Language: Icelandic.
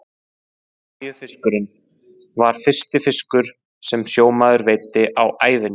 Maríufiskurinn var fyrsti fiskur sem sjómaður veiddi á ævinni.